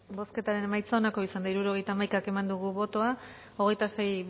bozketaren emaitza onako izan da hirurogeita hamaika eman dugu bozka hogeita sei